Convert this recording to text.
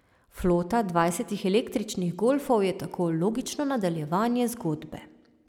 Flota dvajsetih električnih golfov je tako logično nadaljevanje zgodbe.